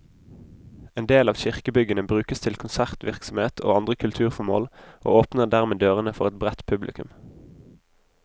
En del av kirkebyggene brukes til konsertvirksomhet og andre kulturformål, og åpner dermed dørene for et bredt publikum.